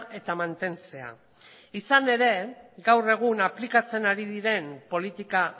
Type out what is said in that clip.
eta mantentzea izan ere gaur egun aplikatzen ari diren politika